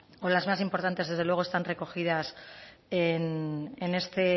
o las más importantes desde luego están recogidas en este